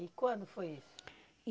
E quando foi isso?